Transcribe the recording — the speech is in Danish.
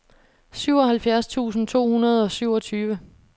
syvoghalvfjerds tusind to hundrede og syvogtyve